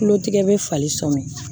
Tulotigɛ bɛ falen sɔmi